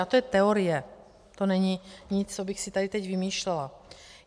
A to je teorie, to není nic, co bych si tady teď vymýšlela.